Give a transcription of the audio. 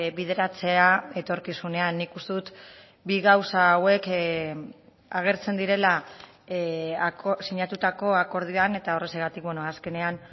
bideratzea etorkizunean nik uste dut bi gauza hauek agertzen direla sinatutako akordioan eta horrexegatik azkenean